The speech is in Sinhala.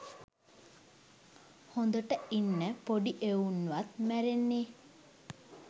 හොදට ඉන්න පොඩි එවුන්වත් මැරෙන්නේ.